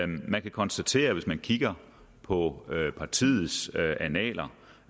man kan konstatere hvis man kigger på partiets annaler